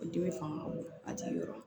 Dimi fanga ka bon a jigi yɔrɔ